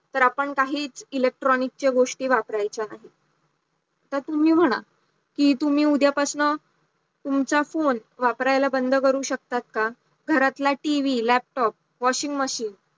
तर आपण काहीच electronic च्या गोष्टी वापरायचा नाही, तर तुम्ही म्हणा कि तुम्ही उद्या पासन तुमचा phone वापरायला बंद करू शकता का घरातला TVLaptop washing machine